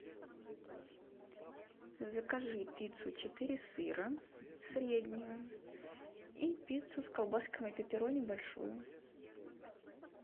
закажи пиццу четыре сыра среднюю и пиццу с колбасками пепперони большую